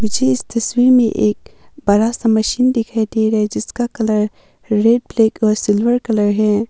मुझे इस तस्वीर में एक बड़ा सा मशीन दिखाई दे रहा है जिसका कलर रेड ब्लैक और सिल्वर कलर है।